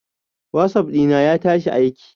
Whatsapp dina ya tashi aiki.